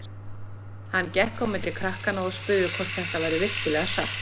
Hann gekk á milli krakkanna og spurði hvort þetta væri virkilega satt.